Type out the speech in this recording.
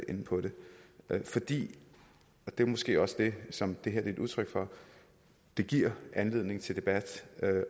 inde på det fordi og det er måske også det som det her er et udtryk for det giver anledning til debat